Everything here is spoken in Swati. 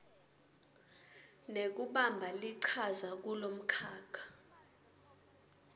nekubamba lichaza kulomkhakha